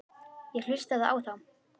Ég hlustaði á þá.